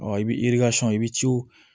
i bɛ i bɛ ciw